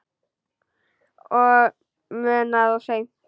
Og munað of seint.